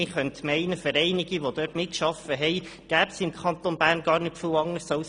Man könnte meinen, für einige, die dort mitgearbeitet haben, gebe es im Kanton Bern gar nicht viel anderes.